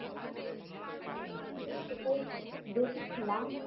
হ্যাঁ আমিও সেটাই দেখেছিলাম